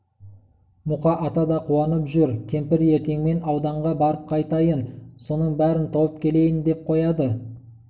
мұқа ата да қуанып жүр кемпір ертеңмен ауданға барып қайтайын соның бәрін тауып келейін деп қояды